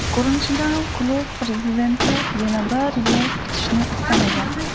Ko‘rinishidan klub prezidenti yana bir yil kutishni istamagan.